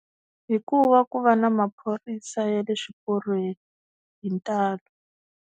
Hi ku va ku va na maphorisa ya le swiporweni hi ntalo.